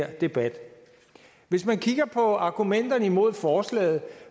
debat hvis man kigger på argumenterne imod forslaget